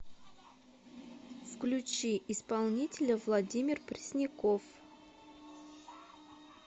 включи исполнителя владимир пресняков